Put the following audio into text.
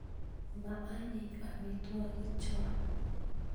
maanyiny amitwokicho